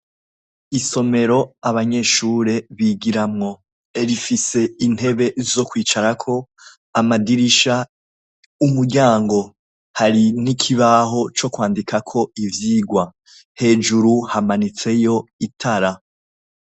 Isomero abanyeshure bigiramwo. Rifise intebe zo kwicarako, amadirisha, umuryango, hari n'ikibaho co kwandikako ivyigwa. Hejuru hamanitseyo itara.